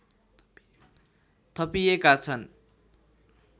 थपिएका छन्